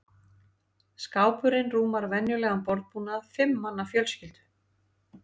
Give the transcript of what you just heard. Skápurinn rúmar venjulegan borðbúnað fimm manna fjölskyldu.